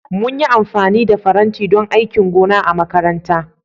Mun yi amfani da faranti don aikin gona a makaranta